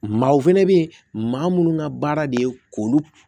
Maaw fɛnɛ be yen maa munnu ŋa baara de ye k'olu